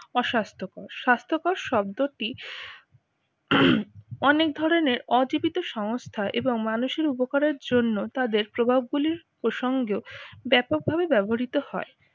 অস্বাস্থ্যকর। স্বাস্থ্যকর শব্দটি অনেক ধরনের অ জীবিত সংস্থা এবং মানুষের উপকারের জন্য তাদের প্রভাব গুলির সঙ্গে ও ব্যাপকভাবে ব্যবহৃত হয়।